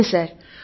అవును సర్